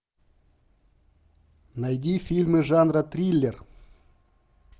найди фильмы жанра триллер